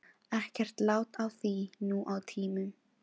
Ekkert lát á því nú á tímum.